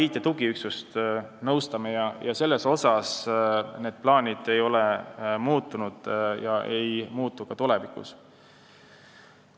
Samuti nõustame mainitud IT-tugiüksust, need plaanid ei ole muutunud ega muutu ka tulevikus.